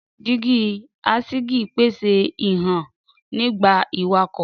Dígí aṣígí pese hihan nigba iwakọ.